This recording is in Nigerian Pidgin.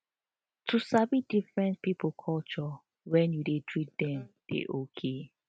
to sabi different people culture when you dey treat them dey okay